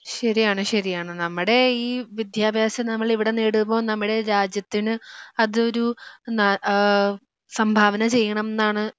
ശരിയാണ് ശരിയാണ് നമ്മുടെ ഈ വിദ്യാഭ്യാസം നമ്മളിവിടെ നേടുമ്പോൾ നമ്മുടെ രാജ്യത്തിന് അതൊരു ന ആഹ് സംഭാവന ചെയ്യണംന്നാണ്